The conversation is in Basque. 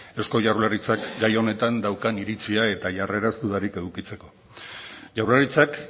eusko jaurlaritzak gai honetan daukan iritzia eta jarreraz dudarik edukitzeko jaurlaritzak